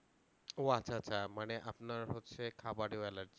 ও আচ্ছা আচ্ছা মানে আপনার হচ্ছে খাবারেও allergy